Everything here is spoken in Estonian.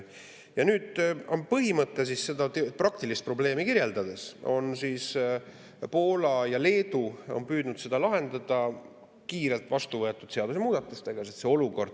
Ja nüüd on põhimõte, kui seda praktilist probleemi kirjeldada, selline, et Poola ja Leedu on püüdnud seda lahendada kiirelt vastuvõetud seadusemuudatustega.